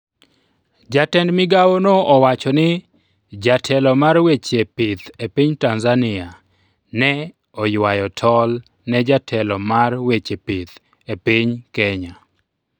jatend migawono owacho ni jatelo mar weche pith epiny Tanzania ne oywayo tol ne jatelo mar weche pith epiny Kenya